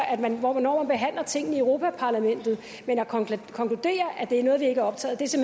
hvornår man behandler tingene i europa parlamentet men at konkludere at det er noget vi ikke er optaget af